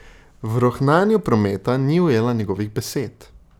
V rohnenju prometa ni ujela njegovih besed.